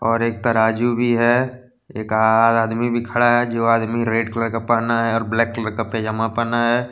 और एक तराजू भी है एक आ आदमी भी खड़ा है जो आदमी रेड कलर का पहना है और ब्लैक कलर का पैजामा पहना है।